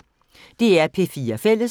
DR P4 Fælles